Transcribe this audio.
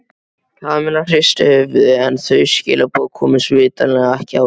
Kamilla hristi höfuðið en þau skilaboð komust vitanlega ekki áleiðis.